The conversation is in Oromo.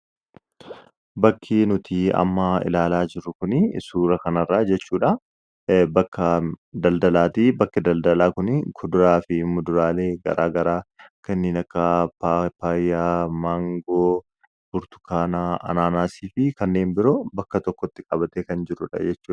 Bakki nuti amma ilaalaa jirru kuni suuraa kanarraa jechuudha bakka daldalaati. Bakki daldalaa kun kuduraalee fi muduraalee garaa garaa kanneen akka paapaayyaa, maangoo, burtukaana, anaanaasii fi kanneen biroo bakka tokko ltti qabatee kan jirudha jechuudha.